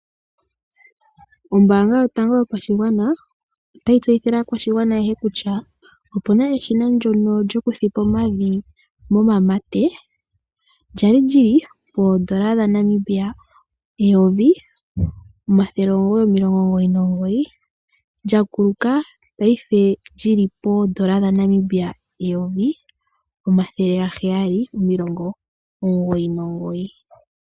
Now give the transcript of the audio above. Ombaanga yotango yopashigwana otayi tseyithile aakwashigwana ayehe kutya opuna eshina ndyono lyoku thipa omavi momamate , lyali lili poondola dhaNamibia eyovi omathele omugoyi omilongo omugoyi nomugoyi lyakuluka paife lyili poondola dhaNamibia eyovi omathele gaheyali omilongo omugoyi nomugoyi